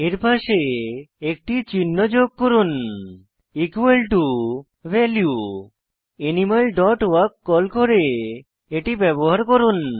এর পাশে একটি চিহ্ন যোগ করুন equal to animal dot walk call করে এটি ব্যবহার করুন